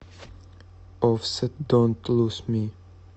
оффсет донт луз ми